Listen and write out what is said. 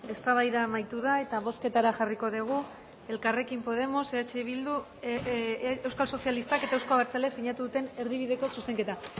eztabaida amaitu da eta bozketara jarriko dugu elkarrekin podemos eh bildu euskal sozialistak eta euzko abertzaleak sinatu duten erdibideko zuzenketa